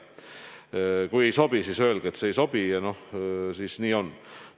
Kui ei sobi, siis öelge, et see ei sobi ja siis nii on.